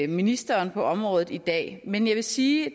ministeren på området i dag men jeg vil sige